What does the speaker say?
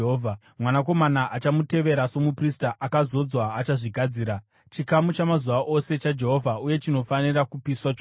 Mwanakomana achamutevera somuprista akazodzwa achazvigadzira. Chikamu chamazuva ose chaJehovha uye chinofanira kupiswa chose.